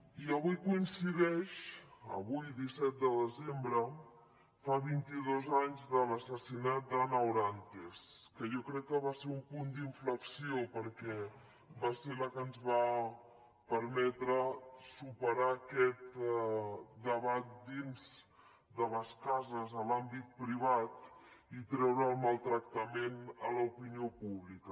i avui coincideix avui disset de desembre fa vint i dos anys de l’assassinat d’ana orantes que jo crec que va ser un punt inflexió perquè va ser la que ens va permetre superar aquest debat dins de les cases a l’àmbit privat i treure el maltractament a l’opinió pública